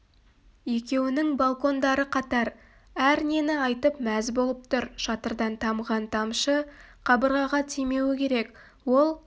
екеуінің балкондары қатар әр нені айтып мәз болып тұр шатырдан тамған тамшы қабырғаға тимеуі керек ол